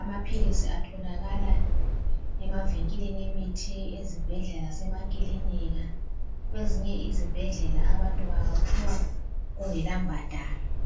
Amaphilisi atholakala emavenkilini emithi, ezibhedlela lesema kilinika. Kwezinye izibhedlela bawaphiwa kungela mbadalo.